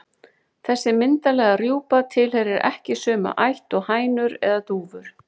Þessi myndarlega rjúpa tilheyrir ekki sömu ætt og hænur eða dúfur.